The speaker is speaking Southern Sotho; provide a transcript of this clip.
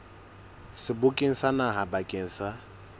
sebokeng sa naha bakeng sa